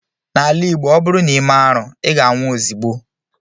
N'ala Igbo, ọ bụrụ na i mee arụ, ị ga-anwụ ozigbo